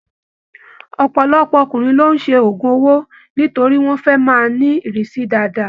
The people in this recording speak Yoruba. Ọpọlọpọ ọkùnrin ló ṣe ogún owó nítorí wọn fẹ máa ni irisi dáadáa.